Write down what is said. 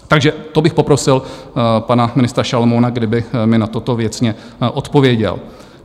Takže to bych poprosil pana ministra Šalomouna, kdyby mi na toto věcně odpověděl.